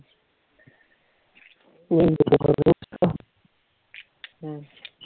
ਅਮ